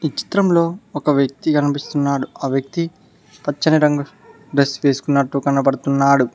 చిత్రంలో ఒక వ్యక్తి కనిపిస్తున్నాడు ఆ వ్యక్తి పచ్చని రంగు డ్రస్ వేసుకున్నట్టు కనబడుతున్నాడు.